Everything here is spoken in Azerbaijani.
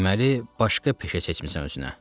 Deməli, başqa peşə seçmisən özünə.